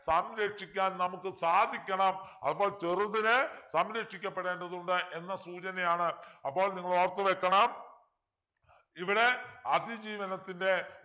സംരക്ഷിക്കാൻ നമുക്ക് സാധിക്കണം അപ്പോൾ ചെറുതിനെ സംരക്ഷിക്കപ്പെടേണ്ടതുണ്ട് എന്ന സൂചനയാണ് അപ്പോൾ നിങ്ങൾ ഓർത്തുവയ്ക്കണം ഇവിടെ അതിജീവനത്തിൻ്റെ